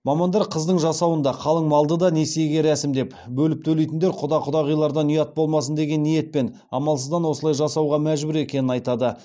мамандар қыздың жасауын да қалың малды да несиеге рәсімдеп бөліп төлейтіндер құда құдағилардан ұят болмасын деген ниетпен амалсыздан осылай жасауға мәжбүр екенін айтады